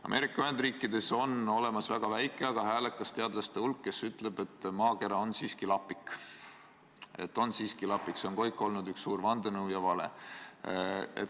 Ameerika Ühendriikides on olemas väga väike, aga häälekas teadlaste hulk, kes ütleb, et maakera on siiski lapik, ta on siiski lapik, see muu on kõik olnud üks suur vandenõu ja vale.